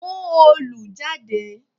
Mú òòlù jáde!